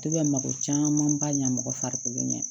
To bɛ mako caman ba ɲa mɔgɔ farikolo ɲɛ